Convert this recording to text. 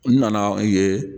N nana ye